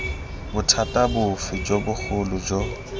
bothata bofe jo bogolo jo